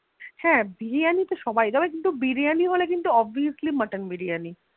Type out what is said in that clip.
হা Biriyani তবে Biriyani হলে কিন্তু Obviously mutton biriyani